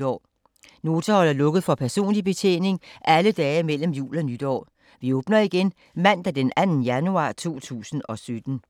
Nota holder lukket for personlig betjening alle dage mellem jul og nytår. Vi åbner igen mandag den 2. januar 2017.